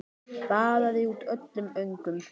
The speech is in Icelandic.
Baðaði út öllum öngum.